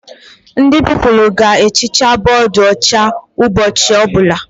Ndị Pupilụ ga ehicha bọdụ ọcha ụbọchị ọbụla